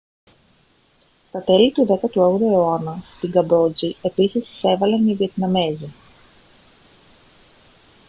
στα τέλη του 18ου αιώνα στη καμπότζη επίσης εισέβαλαν οι βιετναμέζοι